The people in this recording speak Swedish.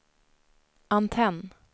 antenn